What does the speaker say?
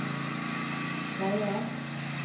veier